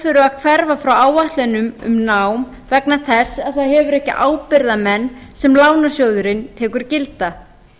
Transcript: þurfi að hverfa frá áætlunum um nám vegna þess að það hefur ekki ábyrgðarmenn sem lánasjóðurinn tekur gilda